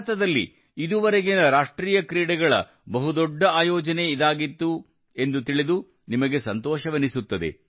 ಭಾರತದಲ್ಲಿ ಇದುವರೆಗಿನ ರಾಷ್ಟ್ರೀಯ ಕ್ರೀಡೆಗಳ ಬಹು ದೊಡ್ಡ ಆಯೋಜನೆ ಇದಾಗಿತ್ತು ತಿಳಿದು ನಿಮಗೆ ಸಂತೋಷನೆನಿಸುತ್ತದೆ